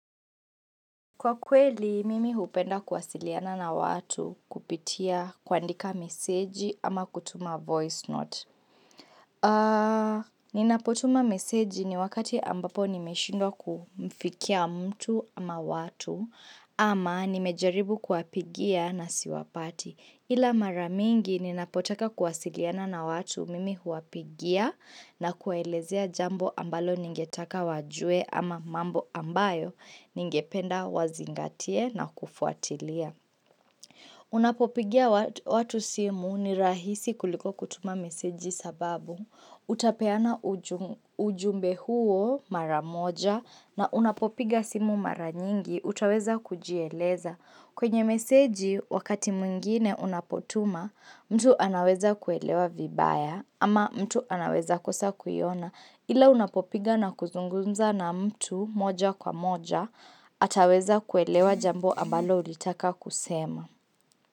Kwa kweli, mimi hupenda kuwasiliana na watu kupitia kuandika meseji ama kutuma voice note. Ninapotuma meseji ni wakati ambapo nimeshindwa kumfikia mtu ama watu ama nimejaribu kuwapigia na siwapati. Ila mara mingi ninapotaka kuwasiliana na watu mimi huwapigia na kuwaelezea jambo ambalo ningetaka wajue ama mambo ambayo ningependa wazingatie na kufuatilia. Unapopigia watu simu ni rahisi kuliko kutuma meseji sababu utapeana ujumbe huo mara moja na unapopiga simu mara nyingi utaweza kujieleza. Kwenye meseji wakati mwingine unapotuma mtu anaweza kuelewa vibaya ama mtu anaweza kosa kuiona ila unapopiga na kuzungumza na mtu moja kwa moja ataweza kuelewa jambo ambalo ulitaka kusema.